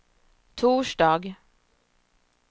torsdag